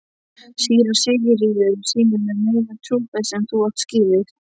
Síra Sigurður sýnir þér meiri trúfesti en þú átt skilið.